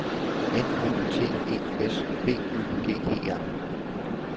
N O T E S B Ø G E R